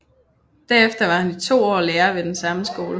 Derefter var han i to år lærer ved den samme skole